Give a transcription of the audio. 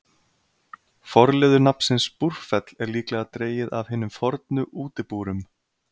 Forliður nafnsins Búrfell er líklega dregið af hinum fornu útibúrum.